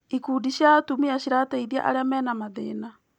Ikundi cia atumia cirateithia arĩa mena mathĩna.